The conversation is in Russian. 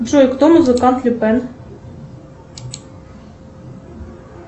джой кто музыкант люпен